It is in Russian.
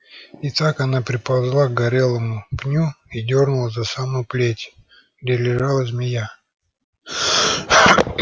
и так она приползла к горелому пню и дёрнула за самую плеть где лежала змея